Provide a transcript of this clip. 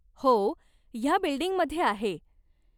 हो, ह्या बिल्डींगमध्ये आहे.